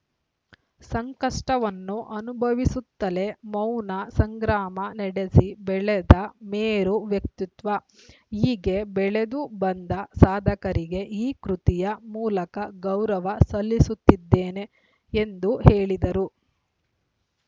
ಸಂಕಷ್ಟವನ್ನು ಅನುಭವಿಸುತ್ತಲೇ ಮೌನ ಸಂಗ್ರಾಮ ನಡೆಸಿ ಬೆಳೆದ ಮೇರು ವ್ಯಕ್ತಿತ್ವ ಹೀಗೆ ಬೆಳೆದು ಬಂದ ಸಾಧಕರಿಗೆ ಈ ಕೃತಿಯ ಮೂಲಕ ಗೌರವ ಸಲ್ಲಿಸುತ್ತಿದ್ದೇನೆ ಎಂದು ಹೇಳಿದರು